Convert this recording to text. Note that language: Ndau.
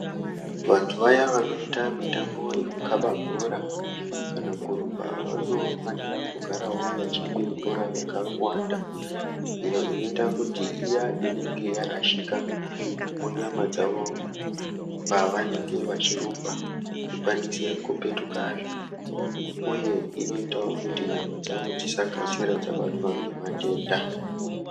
Vantu vaya vanoita mitambo yekukaba bhora kana kurumba vanofanira kugarawo vachimwe mvura yakawanda iyo inoita kuti iya inenge yarashika munyama dzavo pavanenge vachirumba ikwanise kupetuka zvakare, uye inoitawo kuti nyama dzavo dzisakashira dzabatwa ngematenda.